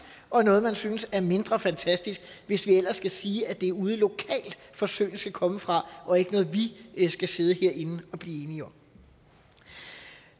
og noget man synes er mindre fantastisk hvis vi ellers skal sige at det er ude lokalt forsøgene skal komme fra og ikke noget vi skal sidde herinde og blive enige om